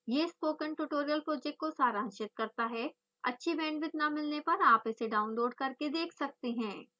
यह spoken tutorial project को सारांशित करता है अच्छी बैंडविड्थ न मिलने पर आप इसे डाउनलोड करके देख सकते हैं